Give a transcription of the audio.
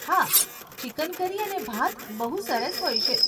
હા, chicken curry અને ભાત બહુ સરસ હોય છે.